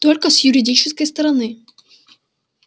только с юридической стороны